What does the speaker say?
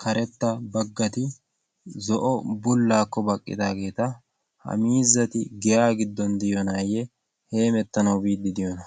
karetta baggati zo7o bullaakko baqqidaageeta. ha miizati giyaa giddon diyoonaayye heemettanau biiddi diyoona?